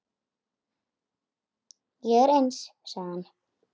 Ég er eins, sagði hann.